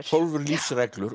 tólf lífsreglur